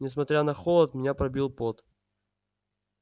несмотря на холод меня пробил пот